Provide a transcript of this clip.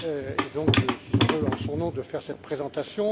Et donc je suis heureux, en son nom, de faire cette présentation.